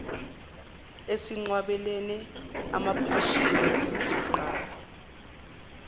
esinqwabelene emaphashini sizoqala